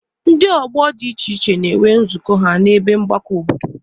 Ndị ọgbọ dị iche iche na-enwe nzukọ ha n'ebe mgbakọ obodo.